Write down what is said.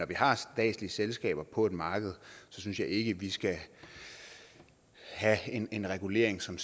vi har statslige selskaber på et marked synes jeg ikke vi skal have en en regulering som